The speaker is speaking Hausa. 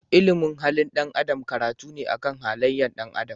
Ilimin halin dan Adam karatu ne akan halayen ɗan adam.